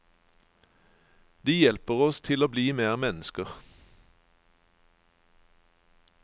De hjelper oss til å bli mer mennesker.